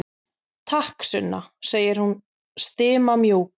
Takk, Sunna, segir hún stimamjúk.